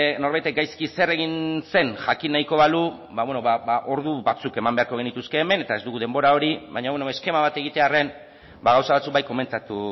norbaitek gaizki zer egin zen jakin nahiko balu ordu batzuk eman beharko genituzke hemen eta ez dugu denbora hori baina beno eskema bat egitearren gauza batzuk bai komentatu